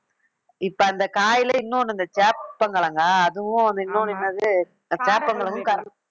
இப்ப அந்த காயிலே இன்னொன்னு இந்த சேப்பங்கிழங்க அதுவும் வந்து இன்னொன்னு என்னது அந்த சேப்பங்கிழங்கும்